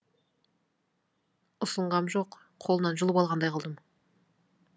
ұсынғам жоқ қолынан жұлып алғандай қылдым